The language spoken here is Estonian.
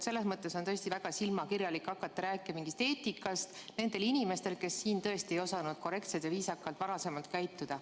Selles mõttes on tõesti väga silmakirjalik hakata rääkima mingist eetikast nendel inimestel, kes varem siin pole osanud korrektselt ja viisakalt käituda.